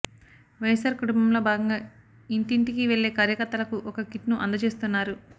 వైఎస్ఆర్ కుటుంబంలో భాగంగా ఇంటింటికి వెళ్లే కార్యకర్తలకు ఒక కిట్ను అందచేస్తున్నారు